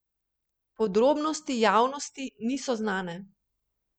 Podrobnosti javnosti niso znane.